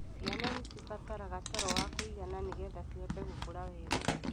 Ciana nĩ cibataraga toro wa kũigana nĩgetha cihote gũkura wega.